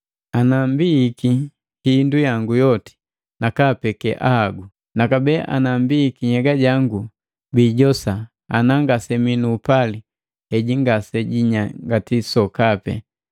Ana mbihiki hindu yangu yoti nakaapekee ahagu, nakabee nambihiki nhyega jangu bijijosa, ana ngasemii nuupali heji ngasejinyangati sokapi.